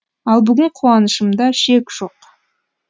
ал бүгін қуанышымда шек жоқ